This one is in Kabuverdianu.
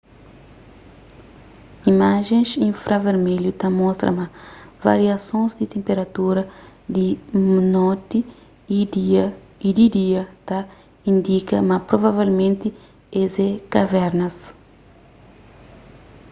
imajens infravermelhu ta mostra ma variasons di tenperatura di noti y di dia ta indika ma provavelmenti es é kavernas